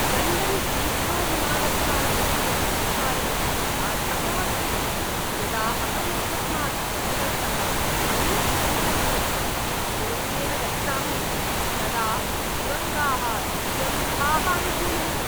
London हीथ्रोविमानस्थानकस्य परिपालनम् अधमम् अस्ति। यदा अहम् एकस्मात् टर्मिनल्तः अन्यत् टर्मिनल् प्रति सुरङ्गेन गच्छामि, तदा सुरङ्गाः दुर्गन्धाः अनुभूयन्ते।